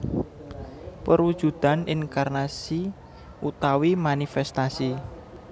Perwujudan inkarnasi utawi manifestasi